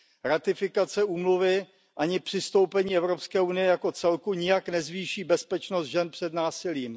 Ratifikace úmluvy ani přistoupení Evropské unie jako celku nijak nezvýší bezpečnost žen před násilím.